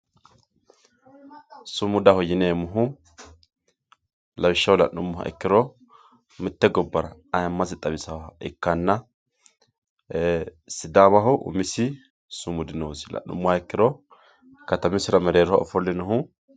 Sumudaho yinneemohu, lawishaho la'numoha ikkiro mite gobara ayyiimase xawisaha ikkanna, sidaamaho umisi sumudi noosi, la'numoha ikkiro katamisira merreeroho ofolinohu